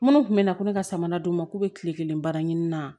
Minnu tun bɛ na ko ne ka samara d'u ma k'u bɛ kile kelen baara ɲini na